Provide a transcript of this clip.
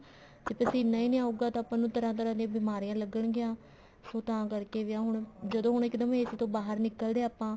ਜੇ ਪਸੀਨਾ ਹੀ ਨੀ ਆਉਗਾ ਤਾਂ ਆਪਾਂ ਨੂੰ ਤਰ੍ਹਾਂ ਤਰ੍ਹਾਂ ਦੀਆਂ ਬਿਮਾਰੀਆਂ ਲੱਗਣ ਗੀਆਂ ਸੋ ਤਾਂ ਕਰਕੇ ਹੁਣ ਜਦੋਂ ਹੁਣ ਇੱਕਦਮ AC ਤੋਂ ਬਾਹਰ ਨਿੱਕਲਦੇ ਹਾਂ ਆਪਾ